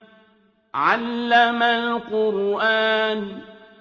عَلَّمَ الْقُرْآنَ